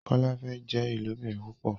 Kola fè jé ilobìrin púpò